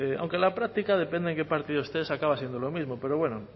aunque en la práctica depende en qué partido estés acaba siendo lo mismo pero bueno